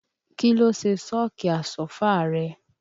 Kí ló ṣe sọ́ọ̀kì Àsọ́fà rẹ?